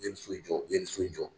U ye nin so jɔ u ye nin so jɔ.